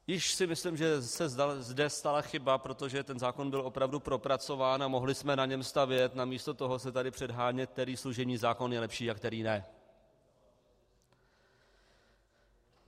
Již si myslím, že se zde stala chyba, protože ten zákon byl opravdu propracován a mohli jsme na něm stavět - namísto toho se tady předhánět, který služební zákon je lepší a který ne.